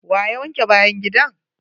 Wa ya wanke bayan gidan!